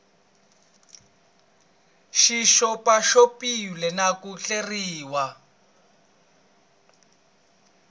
xi xopaxopiwile na ku hleriwa